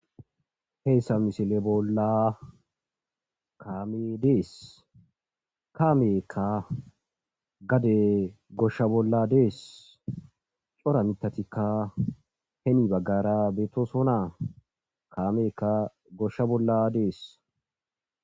Heyssa misile bolla kaame dees, kaameekka gade goshsha bolla dees, cora mitatikka hemi baggara beetoso naa kaameka goshsha bolla dees.